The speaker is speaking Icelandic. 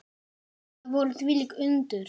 Þetta voru þvílík undur.